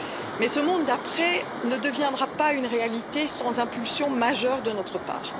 Mais ce monde d'après ne deviendra pas une réalité sans impulsion majeure de notre part.